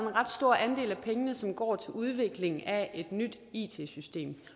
en ret stor andel af pengene som går til udvikling af et nyt it system